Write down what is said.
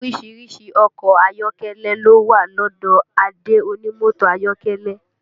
Orísìírísìí ọkọ̀ ayọ́kẹ́lẹ́ ló wà lọ́dọ̀ Adé onímọ́tò ayọ́kẹ́lẹ́